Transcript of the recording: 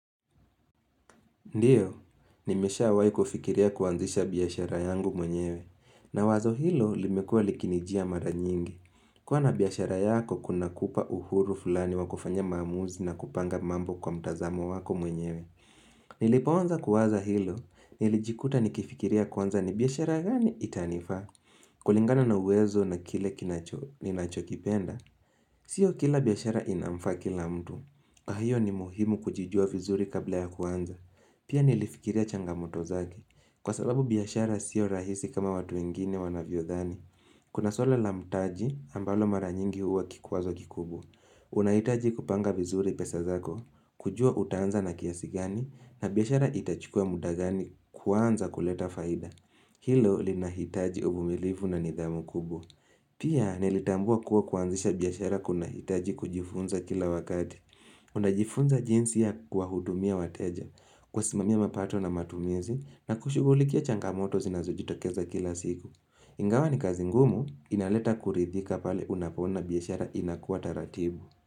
Ndiyo, nimesha wai kufikiria kuanzisha biashara yangu mwenyewe, na wazo hilo limekuwa likinijia mara nyingi. Kuwa na biashara yako kuna kupa uhuru fulani wakufanya maamuzi na kupanga mambo kwa mtazamo wako mwenyewe. Nilipoanza kuwaza hilo, nilijikuta nikifikiria kwanza ni biashara gani itanifaa, kulingana na uwezo na kile kinacho kipenda. Sio kila biashara inamfaa kila mtu, ahiyo ni muhimu kujijua vizuri kabla ya kuanza. Pia nilifikiria changamoto zake. Kwa sababu biashara siyo rahisi kama watu wengine wanavyo dhani. Kuna suala la mtaji ambalo maranyingi uwa kikwazo kikubwa. Unahitaji kupanga vizuri pesa zako, kujua utaanza na kiasi gani, na biashara itachukua muda gani kuanza kuleta faida. Hilo linahitaji uvumilifu na nidhamu kubwa. Pia nilitambua kuwa kuanzisha biashara kunahitaji kujifunza kila wakati. Una jifunza jinsi ya kuwa hudumia wateja, kuwa simamia mapato na matumizi na kushugulikia changamoto zinazo jitokeza kila siku. Ingawa ni kazi ngumu inaleta kuridhika pale unapoona biashara inakua taratibu.